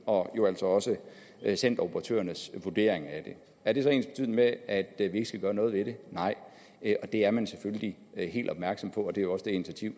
og jo altså også centeroperatørernes vurdering af det er det så ensbetydende med at at vi ikke skal gøre noget ved det nej og det er man selvfølgelig helt opmærksom på det er jo også det initiativ